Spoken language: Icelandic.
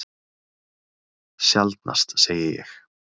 Sjaldnast, segi ég.